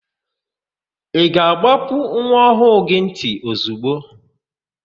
Ị ga-àgbápú nwa ọhụụ gị ntị ozigbo?